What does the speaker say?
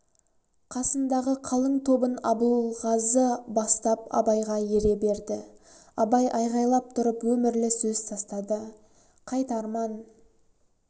қасындағы қалың тобын абылғазы бастап абайға ере берді абай айғайлап тұрып өмірлі сөз тастады қайт арман